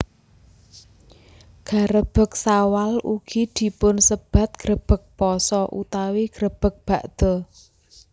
Garebeg Sawal ugi dipunsebat grebeg pasa utawi grebeg bakda